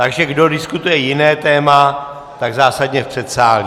Takže kdo diskutuje jiné téma, tak zásadně v předsálí.